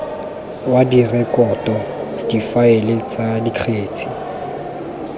wa direkoto difaele tsa dikgetse